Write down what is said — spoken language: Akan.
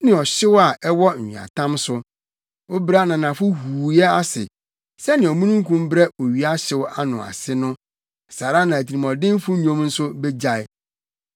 ne ɔhyew a ɛwɔ nweatam so. Wobrɛ ananafo huuyɛ ase; sɛnea omununkum brɛ owia hyew ano ase no, saa ara na atirimɔdenfo nnwom nso begyae.